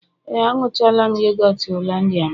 Ee, añụchala'm yogọt hollandia m